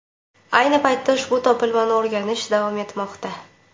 Ayni paytda ushbu topilmani o‘rganish davom etmoqda.